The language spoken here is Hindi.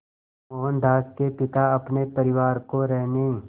मोहनदास के पिता अपने परिवार को रहने